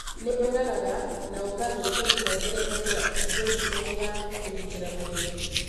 Nĩ ũragaga na ũkathũkia tũhengereta twa thĩthĩtemu ya kũgĩtĩra mwĩrĩ.